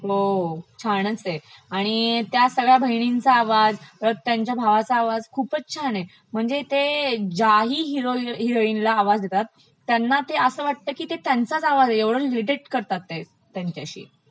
हो छानचं आहे, आणि त्या सगळ्या बहिनींचा आवाज, त्यांच्या भावाचा आवाज, खूपचं छान आहे, म्हणजे ते ज्याही हीरो - हिरॉइनला आवाज देतात त्यांना ते असं वाटत की ते त्यंचाच आवाज आहे इतके ते इमिटेट करतात ते त्यांच्याशी.